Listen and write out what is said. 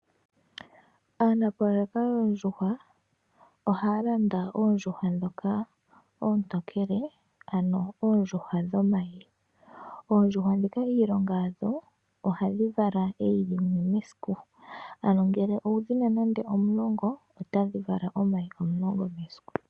Aanafaalama yoondjuhwa oha ya landa oondjuhwa dhoka ontokele, ano oondjuhwa dhomyi. Oondjuhwa dhika iilonga yadho ohadhi vala eyi limwe mesiku, ano ngele owu dhina nande omulongo, ptadhi vala omayi omulongo mesiku.